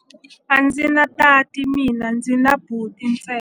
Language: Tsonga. A ndzi na tati mina, ndzi na buti ntsena.